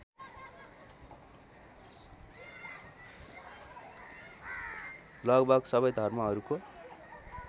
लगभग सबै धर्महरूको